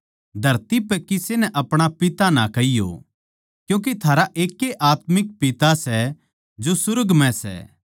धरती पै किसे नै अपणा पिता ना कहियो क्यूँके थारा एकै ए आत्मिक पिता सै जो सुर्ग म्ह सै